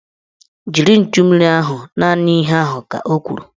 Jiri nchummiri ahụ! Naanị ihe ahụ ka o kwuru